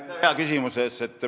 Aitäh hea küsimuse eest!